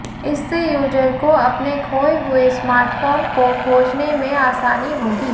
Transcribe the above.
इससे यूजर को अपने खोए हुए स्मार्टफोन को खोजने में आसानी होगी